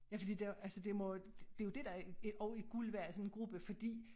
Ja fordi de altså det må det jo dét der er også er guld værd i sådan en gruppe fordi